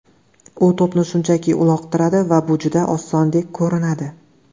U to‘pni shunchaki uloqtiradi va bu juda osondek ko‘rinadi.